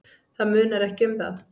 Það munar ekki um það.